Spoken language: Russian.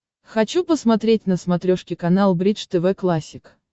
хочу посмотреть на смотрешке канал бридж тв классик